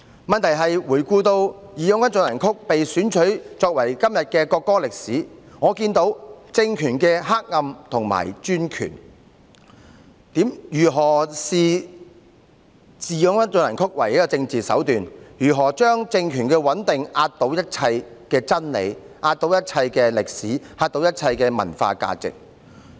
問題在於回顧"義勇軍進行曲"被選取為國歌的歷史，我看到政權的黑暗和專權，如何視"義勇軍進行曲"為政治手段，如何以政權的穩定壓倒一切真理、歷史和文化價值。